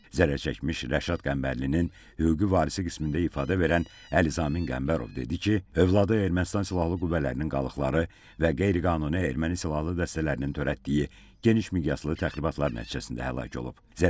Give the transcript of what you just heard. Zərərçəkmiş Rəşad Qəmbərlinin hüquqi varisi qismində ifadə verən Əli Zamin Qəmbərov dedi ki, övladı Ermənistan silahlı qüvvələrinin qalıqları və qeyri-qanuni erməni silahlı dəstələrinin törətdiyi geniş miqyaslı təxribatlar nəticəsində həlak olub.